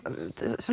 höfum